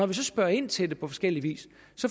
vi så spørger ind til det på forskellig vis